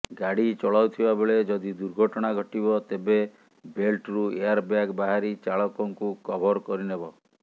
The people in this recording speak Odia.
ଗାଡି ଚଳାଉଥିବା ବେଳେ ଯଦି ଦୁର୍ଘଟଣା ଘଟିବ ତେବେ ବେଲ୍ଟରୁ ଏୟାରବ୍ୟାଗ ବାହାରି ଚାଳକଙ୍କୁ କଭର କରିନେବ